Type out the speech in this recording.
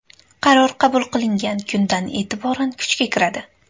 Qaror qabul qilingan kundan e’tiboran kuchga kiradi.